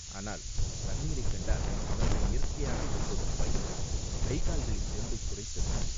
ஆனால் தண்ணீரைக் கண்டால் அவனுக்கு இயற்கையாக ஏற்படும் பயம், கை கால்களின் தெம்பைக் குறைத்தது.